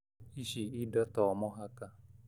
Ĩci indo to mũhaka